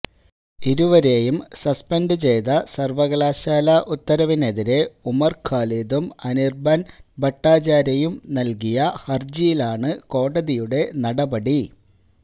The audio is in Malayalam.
ഇരുവരെയും സസ്പെന്ഡ് ചെയ്ത സര്വകലാശാല ഉത്തരവിനെതിരെ ഉമര് ഖാലിദും അനിര്ബന് ഭട്ടാചാര്യയും നല്കിയ ഹരജിയിലാണ് കോടതിയുടെ നടപടി